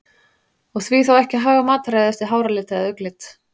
Og því þá ekki að haga mataræði eftir háralit eða augnlit?